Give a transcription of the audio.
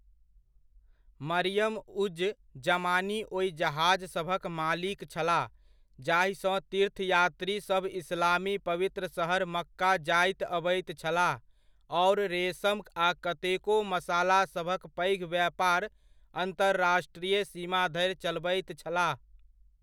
मरियम उज़ ज़मानी ओहि जहाजसभक मालिक छलाह जाहिसँ तीर्थयात्रीसभ इस्लामी पवित्र शहर मक्का जाइत अबैत छलाह आओर रेशम आ कतेको मसालासभक पैघ व्यापार अन्तर्राष्ट्रीय सीमा धरि चलबैत छलाह।